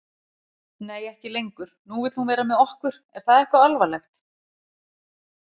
Nei, ekki lengur, nú vill hún vera með okkur er það eitthvað alvarlegt?